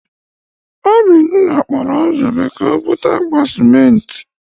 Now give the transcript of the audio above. Obinna kpọrọ Nzube ka o bute akpa sịmentị.